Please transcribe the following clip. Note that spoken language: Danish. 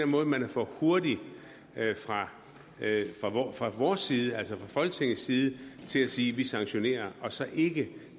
måde man er for hurtig fra vores side altså fra folketingets side til at sige at vi sanktionerer og så ikke